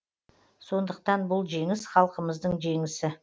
сондықтан бұл жеңіс халқымыздың жеңісі